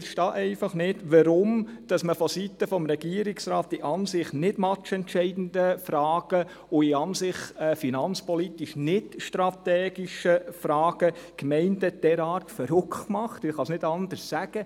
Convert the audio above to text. Ich verstehe einfach nicht, weshalb man vonseiten des Regierungsrats die an sich nicht matchentscheidenden Fragen und in an sich finanzpolitisch nicht strategischen Fragen Gemeinden derart verärgert – ich kann es nicht anders sagen.